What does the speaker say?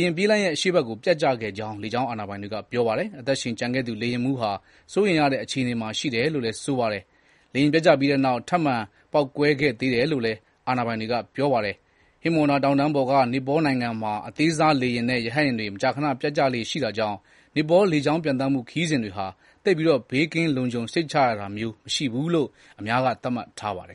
ယာဉ် ပြေးလမ်းရဲ့ အရှေ့ဘက်ကို ပျက်ကျခဲ့ကြောင်း လေကြောင်းအာဏာပိုင်တွေက ပြောပါတယ်။ အသက်ရှင်ကျန်ခဲ့သူ လေယာဉ်မှူးဟာ စိုးရိမ်ရတဲ့ အခြေအနေမှာ ရှိတယ်လို့လည်း ဆိုပါတယ်။ လေယာဉ်ပျက်ကျပြီးနောက် ထပ်မံ ပေါက်ကွဲခဲ့သေးတယ်လို့လည်း အာဏာပိုင်တွေက ပြောပါတယ်။ ဟိမဝန္တာ တောင်တန်းပေါ်က နီပေါနိုင်ငံမှာ အသေးစားလေယာဉ်နဲ့ ရဟတ်ယာဉ်တွေ မကြာခဏ ပျက်ကျလေ့ရှိတာကြောင့် နီပေါ လေကြောင်းပျံသန်းမှု ခရီးစဉ်တွေဟာ သိပ်ပြီး ဘေးကင်း လုံခြုံစိတ်ချရတာမျိုး မရှိဘူးလို့ အများက သတ်မှတ်ထားပါတယ်